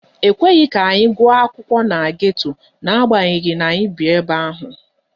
Ekweghị ka anyị gụọ akwụkwọ na geto n'agbanyeghị na anyị bi ebe ahụ.